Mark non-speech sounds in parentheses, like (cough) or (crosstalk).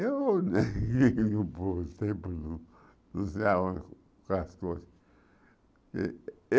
Eu, (laughs) por exemplo, não não sei aonde está as coisas.